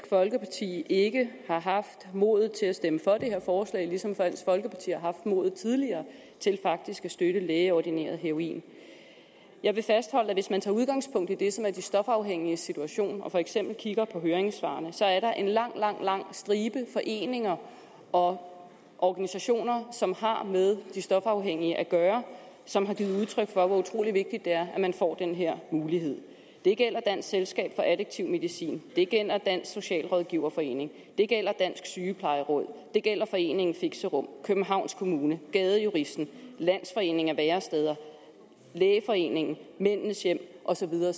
folkeparti ikke har haft modet til at stemme for det her forslag ligesom dansk folkeparti har haft mod til tidligere faktisk at støtte lægeordineret heroin jeg vil fastholde at hvis man tager udgangspunkt i det som er de stofafhængiges situation og for eksempel kigger på høringssvarene så er der en lang lang lang stribe af foreninger og organisationer som har med de stofafhængige at gøre som har givet udtryk for hvor utrolig vigtigt det er at man får den her mulighed det gælder dansk selskab for addiktiv medicin det gælder dansk socialrådgiverforeningen det gælder dansk sygeplejeråd det gælder foreningen fixerum københavns kommune gadejuristen landsforeningen af væresteder lægeforeningen mændenes hjem og så videre